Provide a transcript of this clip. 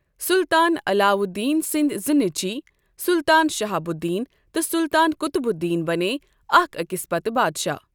سلطان علاؤالدین سندۍ زٕ نیچوۍ، سلطان شہاب الدین تہٕ سلطان قطب الدین بنے اکھ أکِس پتہ بادشاہ۔